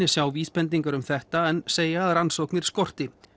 sjá vísbendingar um þetta en segja að rannsóknir skorti